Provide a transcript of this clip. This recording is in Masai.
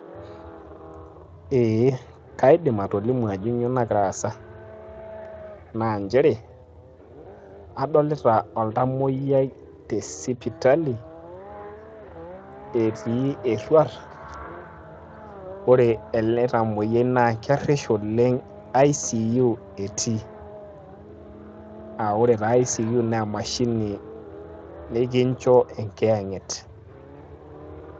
ee kaidim atolimu ajo kainyioo nagira aasa, naa nchere adolita oltamoyiai, te sipitali, etii eruat. naa ore ele tamoyiai naa kerish oleng, icu etii.aa ore taa icu naa emashini nikncho enkiyang'et.